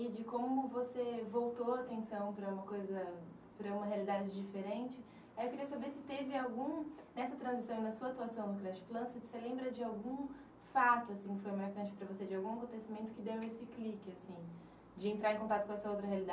E de como você voltou a atenção para uma coisa, para uma realidade diferente. Eu queria saber se teve algum, nessa transição e na sua atuação no Creche Plan, se você lembra de algum fato, assim, que foi marcante para você, de algum acontecimento que deu esse clique assim, de entrar em contato com essa outra